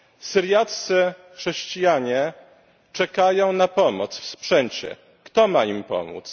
Syriaccy chrześcijanie czekają na pomoc w sprzęcie kto ma im pomóc?